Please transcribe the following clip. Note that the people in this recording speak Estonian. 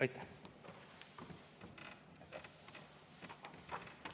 Aitäh!